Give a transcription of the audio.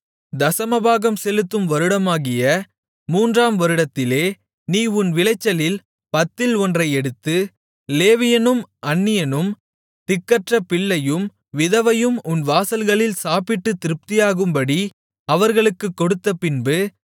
தசமபாகம் செலுத்தும் வருடமாகிய மூன்றாம் வருடத்திலே நீ உன் விளைச்சலில் பத்தில் ஒன்றை எடுத்து லேவியனும் அந்நியனும் திக்கற்ற பிள்ளையும் விதவையும் உன் வாசல்களில் சாப்பிட்டுத் திருப்தியாகும்படி அவர்களுக்குக் கொடுத்தபின்பு